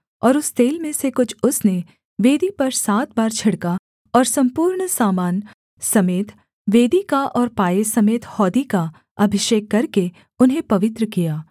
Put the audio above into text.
और उस तेल में से कुछ उसने वेदी पर सात बार छिड़का और सम्पूर्ण सामान समेत वेदी का और पाए समेत हौदी का अभिषेक करके उन्हें पवित्र किया